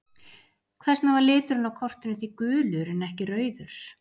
Hvers vegna var liturinn á kortinu því gulur en ekki rauður?